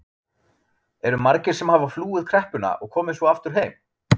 Eru margir sem hafa flúið kreppuna og komið svo aftur heim?